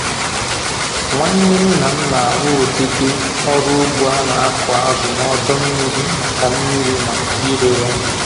Nwanne nna m na-arụ ụdịdị ọrụ ugbo a na-akụ azụ n'ọdọ mmiri maka mmiri maka ire ya